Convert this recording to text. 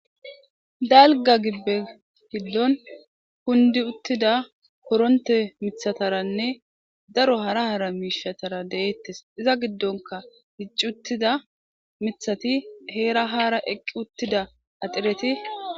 dalga gibbe gidon kundi uttida koronte mithataranne daro hara hara miishatara deeettes iza giddonka hicci uttida mithati heera haara eqqi uttida axireti